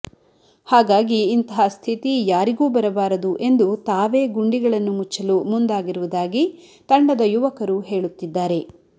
ಹಾಗಾಗಿ ಇಂತಹ ಸ್ಥಿತಿ ಯಾರಿಗೂ ಬರಬಾರದು ಎಂದು ತಾವೇ ಗುಂಡಿಗಳನ್ನು ಮುಚ್ಚಲು ಮುಂದಾಗಿರುವುದಾಗಿ ತಂಡದ ಯುವಕರು ಹೇಳುತ್ತಿದ್ದಾರೆ